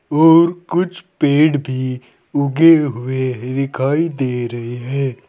और कुछ पेड़ भी उगे हुए दिखाई दे रहे है।